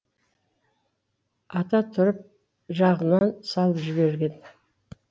ата тұрып жағынан салып жіберген